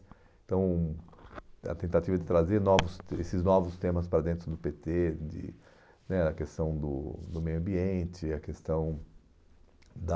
Então, a tentativa de trazer esses novos esses novos temas para dentro do pê tê, de né a questão do do meio ambiente, a questão da...